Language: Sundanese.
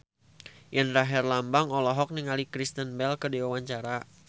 Indra Herlambang olohok ningali Kristen Bell keur diwawancara